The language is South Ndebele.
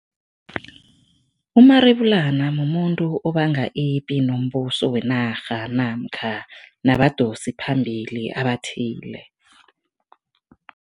Umarebulana mumuntu obanga ipi nombuso wenarha namkha nabadosiphambili abathile.